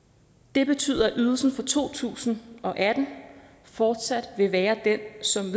det betyder at ydelsen for to tusind og atten fortsat vil være den som